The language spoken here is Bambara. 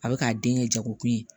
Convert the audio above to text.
A bɛ k'a den kɛ jago kun ye